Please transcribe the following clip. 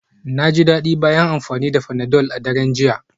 Na ji daɗi bayan amfani da panadol a daren jiya.